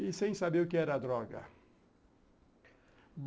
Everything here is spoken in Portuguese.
E sem saber o que era droga.